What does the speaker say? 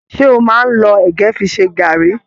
Ṣe o máa n lọ ẹgẹ fí ṣe garri?